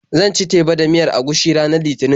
Zan ci teba da miyar agushi ranar Litinin.